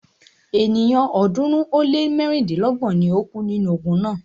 Ènìyàn ọ̀ọ́dúnrún ó lé mẹ́rìndínlọ́gbọ̀n ni o kú nínú ogun náà.